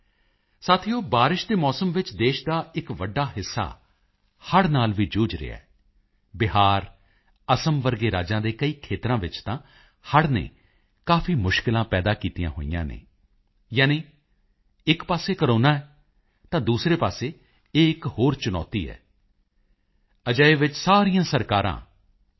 ਸਾਥੀਓ ਬਾਰਿਸ਼ ਦੇ ਮੌਸਮ ਵਿੱਚ ਦੇਸ਼ ਦਾ ਇਕ ਵੱਡਾ ਹਿੱਸਾ ਹੜ੍ਹ ਨਾਲ ਵੀ ਜੂਝ ਰਿਹਾ ਹੈ ਬਿਹਾਰ ਅਸਾਮ ਵਰਗੇ ਰਾਜਾਂ ਦੇ ਕਈ ਖੇਤਰਾਂ ਵਿੱਚ ਤਾਂ ਹੜ੍ਹ ਨੇ ਕਾਫੀ ਮੁਸ਼ਕਿਲਾਂ ਪੈਦਾ ਕੀਤੀਆਂ ਹੋਈਆਂ ਹਨ ਯਾਨੀ ਇਕ ਪਾਸੇ ਕੋਰੋਨਾ ਹੈ ਤਾਂ ਦੂਸਰੇ ਪਾਸੇ ਇਹ ਇਕ ਹੋਰ ਚੁਣੌਤੀ ਹੈ ਅਜਿਹੇ ਵਿੱਚ ਸਾਰੀਆਂ ਸਰਕਾਰਾਂ ਐਨ